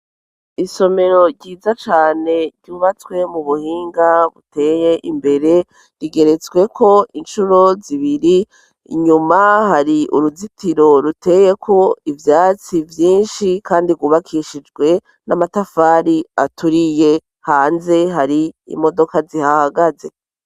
isomero ryiza cane ryubatswe mu buhinga buteye imbere rigeretswe ko incuro zibiri inyuma hari uruzitiro ruteye ko ivyatsi vyinshi kandi ryubakishijwe n'amatafari aturiye hanze hari imodoka zihahagaze